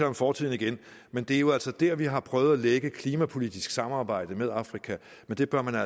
om fortiden igen men det er jo altså der vi har prøvet at lægge et klimapolitisk samarbejde med afrika det bør man